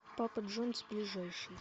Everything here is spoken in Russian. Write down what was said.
пападжонс ближайший